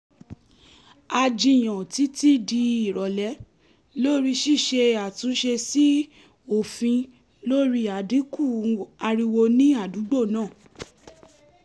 a jiyàn títí di ìrọ̀lẹ́ lórí ṣíṣe àtúnṣe sí òfin lórí àdínkù ariwo ni àdúgbò náà